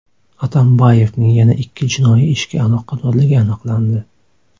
Atambayevning yana ikki jinoiy ishga aloqadorligi aniqlandi.